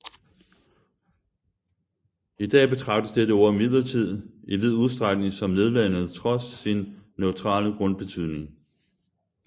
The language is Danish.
I dag betragtes dette ord imidlertid i vid udstrækning som nedladende trods sin neutrale grundbetydning